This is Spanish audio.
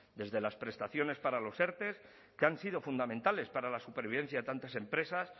desde las prestaciones para los erte que han sido fundamentales para la supervivencia de tantas empresas